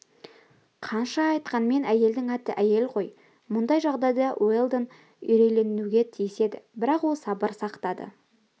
қанша айтқанмен әйелдің аты әйел ғой мұндай жағдайда уэлдон үрейленуге тиіс еді бірақ ол сабыр сақтады